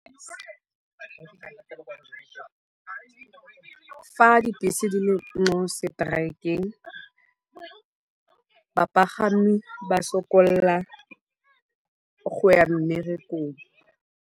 Fa dibese di le mo strike-eng, bapagami ba sokolla go ya mmerekong.